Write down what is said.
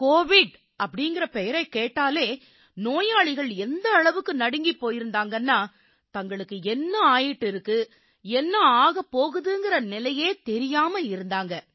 கோவிட்ங்கற பெயரைக் கேட்டாலே நோயாளிகள் எந்த அளவுக்கு நடுங்கிப் போயிருந்தாங்கன்னா தங்களுக்கு என்ன ஆயிட்டு இருக்கு என்ன ஆகப் போகுதுங்கற நிலையே தெரியாம இருந்தாங்க